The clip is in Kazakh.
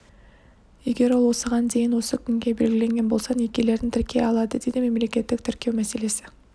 егер ол осыған дейін осы күнге белгіленген болса некелерін тіркей алады деді мемлекеттік тіркеу мәселесі